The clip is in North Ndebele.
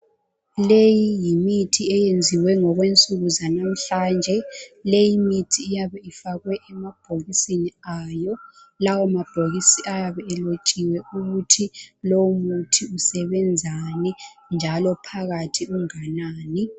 Leyi yimithi eyenziwe ngokwensuku zalamhlanje leyi imithi iyabe ifakwe emabhokisini ayo, lawo mabhokisi ayabe elotshiwe ukuthi lowu muthi usebenzani njalo phakathi unganani.